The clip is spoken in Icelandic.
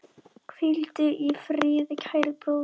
Hvíldu í friði, kæri bróðir.